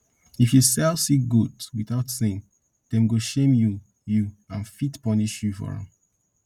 if you sell sick goat without saying dem go shame you you and fit punish you for am